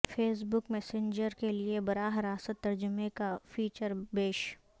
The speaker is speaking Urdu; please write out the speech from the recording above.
فیس بک میسنجر کیلئے براہ راست ترجمے کا فیچر پیش